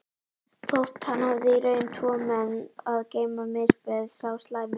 Þótt hann hefði í raun tvo menn að geyma misbauð sá slæmi